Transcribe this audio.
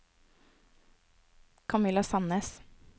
Kamilla Sandnes